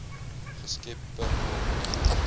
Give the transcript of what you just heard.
geskep per ton